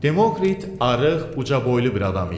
Demokrit arıq, ucaboylu bir adam idi.